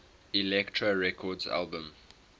elektra records albums